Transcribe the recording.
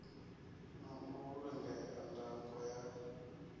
na u vhulungea ndango ya